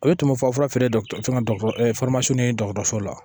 O ye tumufafura feere ye dɔgɔtɔrɔ fɛn fɛn ye dɔgɔtɔrɔso la